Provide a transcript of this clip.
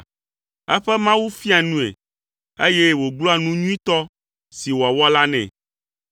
Eƒe Mawu fiaa nue, eye wògblɔa nu nyuitɔ si wòawɔ la nɛ.